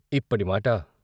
ఇప్పటి మాటా?